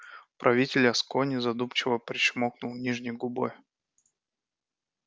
правитель аскони задумчиво причмокнул нижней губой